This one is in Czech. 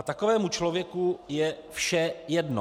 A takovému člověku je vše jedno.